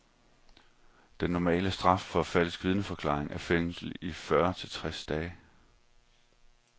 Den normale straf for falsk vidneforklaring er fængsel i fyrre til tres dage.